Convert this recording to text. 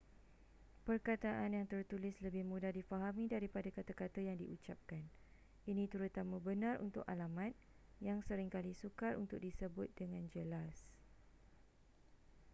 perkataan yang tertulis lebih mudah difahami daripada kata-kata yang diucapkan ini terutama benar untuk alamat yang sering kali sukar untuk disebut dengan jelas